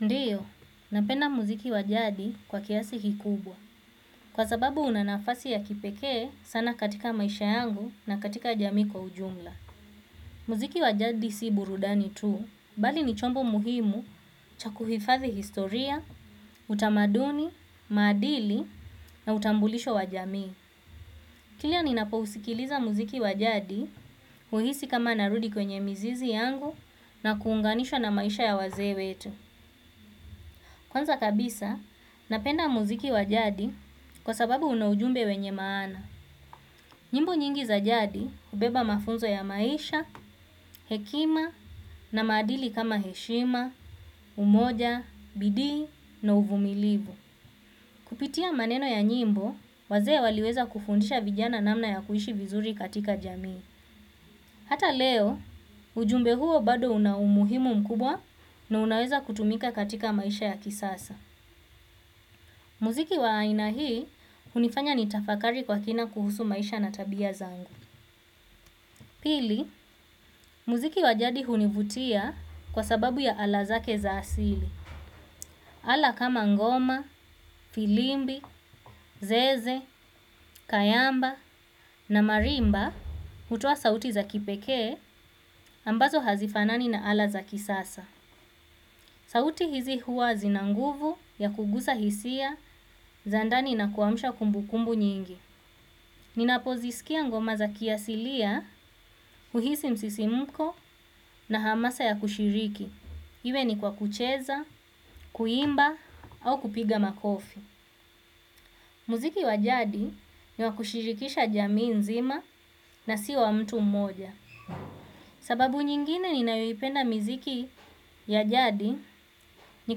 Ndiyo, napenda muziki wa jadi kwa kiasi kikubwa. Kwa sababu una nafasi ya kipekee sana katika maisha yangu na katika jamii kwa ujumla. Muziki wa jadi si burudani tu, bali ni chombo muhimu cha kuhifadhi historia, utamaduni, maadili na utambulisho wa jami. Kilia ninapousikiliza muziki wa jadi, huhisi kama narudi kwenye mizizi yangu na kuunganishwa na maisha ya wazee wetu. Kwanza kabisa, napenda muziki wa jadi kwa sababu una ujumbe wenye maana. Nyimbo nyingi za jadi hubeba mafunzo ya maisha, hekima na maadili kama heshima, umoja, bidii na uvumilivu. Kupitia maneno ya nyimbo, wazee waliweza kufundisha vijana namna ya kuishi vizuri katika jamii. Hata leo, ujumbe huo bado una umuhimu mkubwa na unaweza kutumika katika maisha ya kisasa. Muziki wa aina hii hunifanya nitafakari kwa kina kuhusu maisha na tabia zangu. Pili, muziki wa jadi hunivutia kwa sababu ya ala zake za asili. Ala kama ngoma, firimbi, zeze, kayamba na marimba hutoa sauti za kipekee ambazo hazifanani na ala za kisasa. Sauti hizi huwa zina nguvu ya kugusa hisia za ndani na kuamusha kumbukumbu nyingi. Ninapo zisikia ngoma za kiasilia, huhisi msisimko na hamasa ya kushiriki. Iwe ni kwa kucheza, kuimba au kupiga makofi. Muziki wa jadi ni wa kushirikisha jamii nzima na sio wa mtu mmoja. Sababu nyingine ninayoipenda miziki ya jadi ni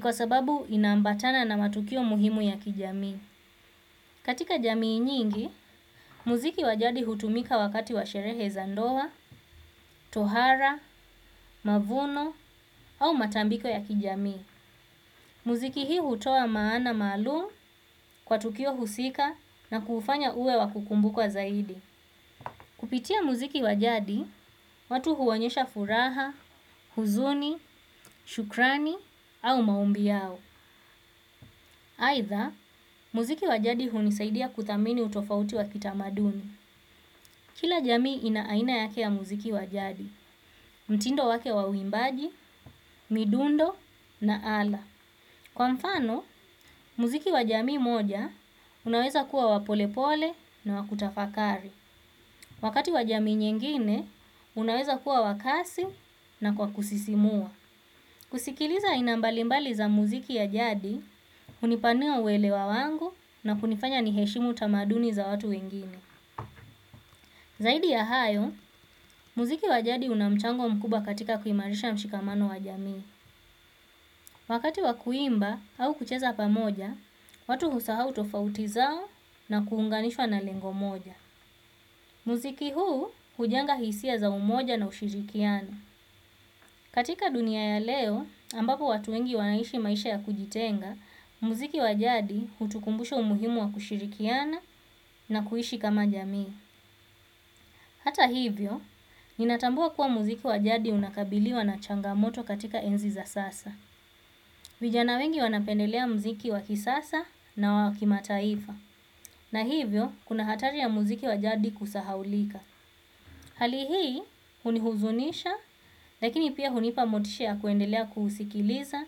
kwa sababu inaambatana na matukio muhimu ya kijamii. Katika jamii nyingi, muziki wa jadi hutumika wakati wa sherehe za ndoa, tohara, mavuno au matambiko ya kijamii. Muziki hii hutoa maana maalum kwa tukio husika na kuufanya uwe wa kukumbukwa zaidi. Kupitia muziki wa jadi, watu huonyesha furaha, huzuni, shukrani au maombi yao. Aidha muziki wa jadi hunisaidia kuthamini utofauti wa kitamaduni. Kila jamii ina aina yake ya muziki wa jadi, mtindo wake wa uimbaji, midundo na ala. Kwa mfano, muziki wa jamii moja, unaweza kuwa wa polepole na wa kutafakari. Wakati wa jamii nyingine, unaweza kuwa wa kasi na kwa kusisimua. Kusikiliza aina mbalimbali za muziki ya jadi, hunipanua uelewa wangu na kunifanya niheshimu tamaduni za watu wengine. Zaidi ya hayo, muziki wa jadi una mchango mkubwa katika kuimarisha mshikamano wa jamii. Wakati wa kuimba au kucheza pamoja, watu husahau tofauti zao na kuunganishwa na lengo moja. Muziki huu hujenga hisia za umoja na ushirikiano. Katika dunia ya leo, ambapo watu wengi wanaishi maisha ya kujitenga, muziki wa jadi hutukumbusha umuhimu wa kushirikiana na kuishi kama jamii. Hata hivyo, ninatambua kuwa muziki wa jadi unakabiliwa na changamoto katika enzi za sasa. Vijana wengi wanapendelea muziki wa kisasa na wa kimataifa. Na hivyo, kuna hatari ya muziki wa jadi kusahaulika. Hali hii, hunihuzunisha, lakini pia hunipa motisha ya kuendelea kuusikiliza,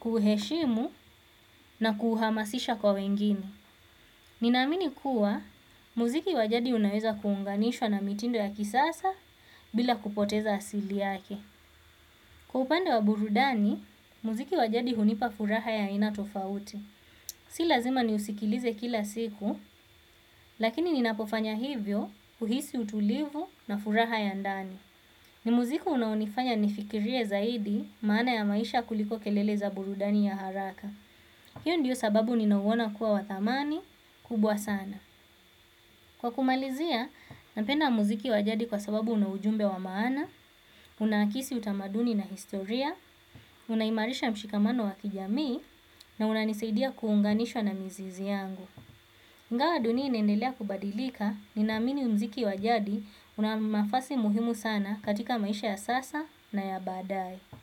kuuheshimu na kuuhamasisha kwa wengine. Ninamini kuwa muziki wa jadi unaweza kuunganishwa na mitindo ya kisasa bila kupoteza asili yake. Kwa upande wa burudani, muziki wa jadi hunipa furaha ya aina tofauti. Si lazima niusikilize kila siku, lakini ninapofanya hivyo huhisi utulivu na furaha ya ndani. Ni muziki unaonifanya nifikirie zaidi maana ya maisha kuliko kelele za burudani ya haraka. Hiyo ndiyo sababu ninauona kuwa wa thamani kubwa sana. Kwa kumalizia, napenda muziki wa jadi kwa sababu una ujumbe wa maana, unahakisi utamaduni na historia, unaimarisha mshikamano wa kijamii, na unanisaidia kuunganishwa na mizizi yangu. Ingawa dunia inaendelea kubadilika, ninaamini muziki wa jadi una nafasi muhimu sana katika maisha ya sasa na ya baadaye.